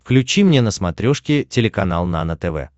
включи мне на смотрешке телеканал нано тв